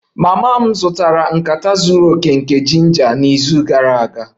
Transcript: Mama m zụtara nkata zuru oke nke ginger n'izu gara aga